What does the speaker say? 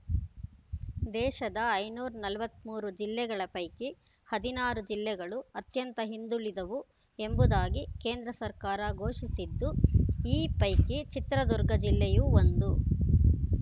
ದೇಶದ ಐನೂರ ನಲವತ್ತ್ ಮೂರು ಜಿಲ್ಲೆಗಳ ಪೈಕಿ ಹದಿನಾರು ಜಿಲ್ಲೆಗಳು ಅತ್ಯಂತ ಹಿಂದುಳಿದವು ಎಂಬುದಾಗಿ ಕೇಂದ್ರ ಸರ್ಕಾರ ಘೋಷಿಸಿದ್ದು ಈ ಪೈಕಿ ಚಿತ್ರದುರ್ಗ ಜಿಲ್ಲೆಯೂ ಒಂದು